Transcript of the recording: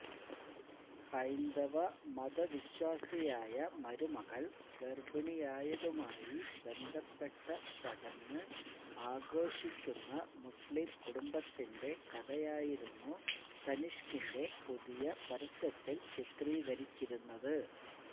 ഹൈന്ദവ മതവിശ്വാസിയായ മരുമകള് ഗര്ഭിണിയായതുമായി ബന്ധപ്പെട്ട ചടങ്ങ് ആഘോഷിക്കുന്ന മുസ്ലിം കുടുംബത്തിന്റെ കഥയായിരുന്നു തനിഷ്കിന്റെ പുതിയ പരസ്യത്തില് ചിത്രീകരിച്ചിരുന്നത്